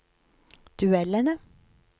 duellene